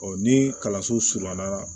ni kalanso surunya na